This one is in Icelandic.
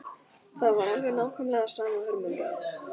Það var alveg nákvæmlega sama hörmungin.